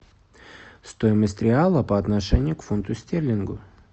стоимость реала по отношению к фунту стерлингу